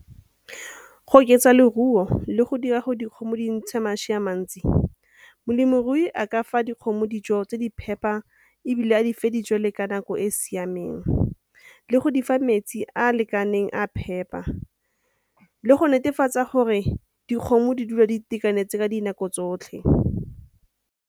Go oketsa leruo le go dira gore dikgomo di ntshe mašwi a mantsi, molemirui a ka fa dikgomo dijo tse di phepa ebile a di fa dijwalo ka nako e siameng, le go di fa metsi a a lekaneng a phepa, le go netefatsa gore dikgomo di dule di itekanetse ka dinako tsotlhe.